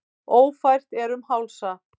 Ófært er um Hálsa